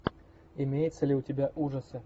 имеется ли у тебя ужасы